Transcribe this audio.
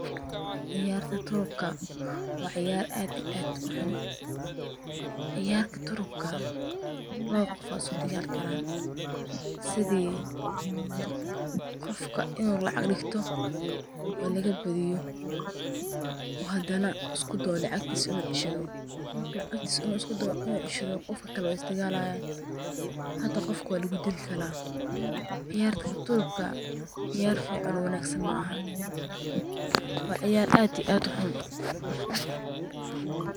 Ciyarta turubka waa ciyaar aad iyo aad uxuun. Ciyarta turubka lawa qoof aya iskudigali karaan sidhi qofka inuu lacaq digto oo lagabadhiyo oo hadana isku dayo inuu lacqtiis uu cishadho marku lacaqtiis inuu iskudayo in ucishadho qofkakalo waa isdigalayan hata qofka waa lagudili karaa. Ciyarta turubka ciyaar fican oo wanagsan maaha waa ciyar ad ii aad uxun.